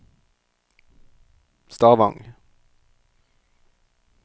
Stavang